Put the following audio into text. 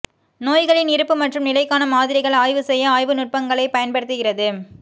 நோய்களின் இருப்பு மற்றும் நிலைக்கான மாதிரிகள் ஆய்வு செய்ய ஆய்வு நுட்பங்களைப் பயன்படுத்துகிறது